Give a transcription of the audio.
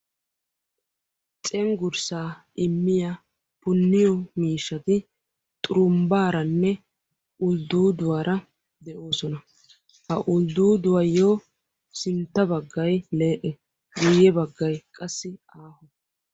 Cenggurssaa immiya punniyo miishshati xurumbbaaranne uldduuduwara de'oosona. Ha uldduuduwayyo sintta baggayi lee'e guyye baggayi qassi aaho.